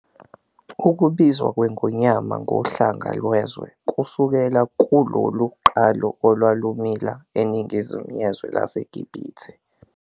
Ukubizwa kweNgonyama ngoHlanga Lwezwe kusukelwa kulolu qalo olwalumila eNingizimu yezwe laseGibhithe.